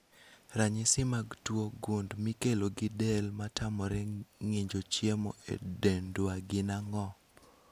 Ranyisi mag tuo gund mikelo gi del matamore ng'injo chiemo e dendwa gin ang'o?